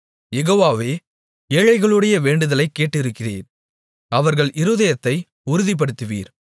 யெகோவாவே ஏழைகளுடைய வேண்டுதலைக் கேட்டிருக்கிறீர் அவர்கள் இருதயத்தை உறுதிப்படுத்துவீர்